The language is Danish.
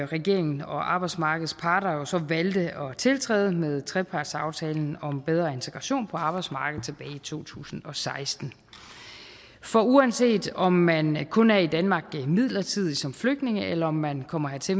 regeringen og arbejdsmarkedets parter så valgte at tiltræde med trepartsaftalen om bedre integration på arbejdsmarkedet tilbage i to tusind og seksten for uanset om man man kun er i danmark midlertidigt som flygtning eller man kommer hertil